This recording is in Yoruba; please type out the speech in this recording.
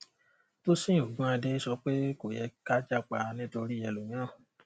tósìn ogúnadé sọ pé kò yẹ ká jápa nítorí ẹlòmíràn